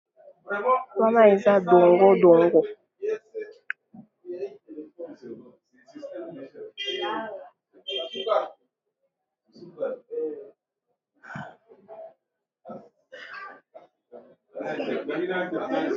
Wana eza dongo dongo, wana eza dongo dongo.